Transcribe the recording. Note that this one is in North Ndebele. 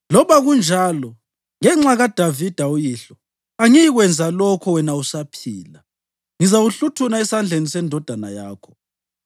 Loba kunjalo, ngenxa kaDavida uyihlo, angiyikwenza lokho wena usaphila. Ngizawuhluthuna esandleni sendodana yakho.